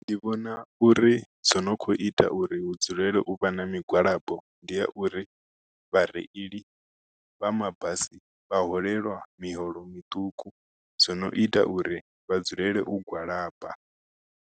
Ndi vhona uri zwo no kho ita uri hu dzulele u vha na migwalabo ndi ya uri vhareili vha mabasi vha holeliwa miholo miṱuku zwi no ita uri vha dzulele u gwalaba.